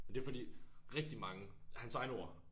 Men det fordi rigtig mange hans egne ord